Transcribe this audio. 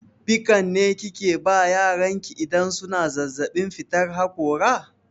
Pikan ne kike ba yaran ki idan suna zazzaɓin fitar haƙora?